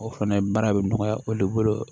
O fɛnɛ baara bɛ nɔgɔya olu bolo